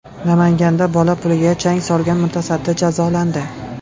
Namanganda bola puliga chang solgan mutasaddi jazolandi.